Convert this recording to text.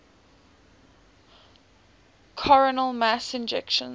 coronal mass ejections